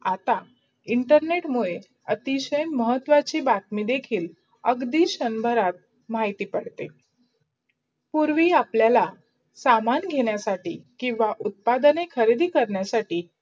आता internet मुडे अतिशय महत्वाची बातमी देखील अगदी शंभरात माहिती पडते. पूर्वी आपलायला समान घेणायासाठी किव्वा उत्पढणे कजरीदी कारणासाठी